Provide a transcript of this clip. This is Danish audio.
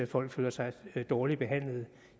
folk føler sig dårligt behandlet